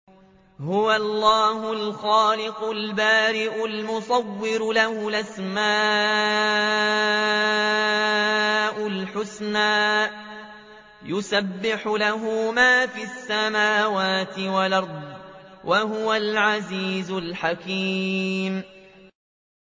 هُوَ اللَّهُ الْخَالِقُ الْبَارِئُ الْمُصَوِّرُ ۖ لَهُ الْأَسْمَاءُ الْحُسْنَىٰ ۚ يُسَبِّحُ لَهُ مَا فِي السَّمَاوَاتِ وَالْأَرْضِ ۖ وَهُوَ الْعَزِيزُ الْحَكِيمُ